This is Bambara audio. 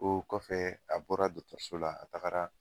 O kɔfɛ a bɔra dotɔriso la a tagara.